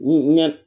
Ɲɛ